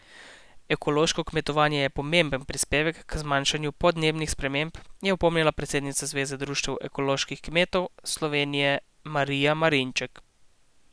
Ekološko kmetovanje je pomemben prispevek k zmanjševanju podnebnih sprememb, je opomnila predsednica Zveze društev ekoloških kmetov Slovenije Marija Marinček.